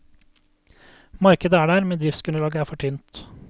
Markedet er der, men driftsgrunnlaget er for tynt.